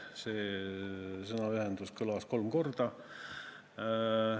See sõnaühend kõlas kolm korda.